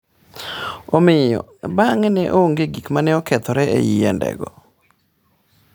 Omiyo, bang’e ne onge gik ma ne okethore e yiendego.